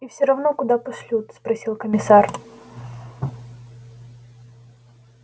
и всё равно куда пошлют спросил комиссар